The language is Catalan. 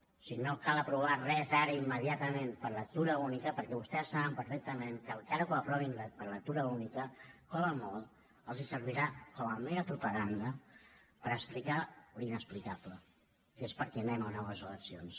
o sigui no cal aprovar res ara immediatament per lectura única perquè vostès saben perfectament que encara que ho aprovin per lectura única com a molt els servirà com a mera propaganda per explicar l’inexplicable que és per què anem a noves eleccions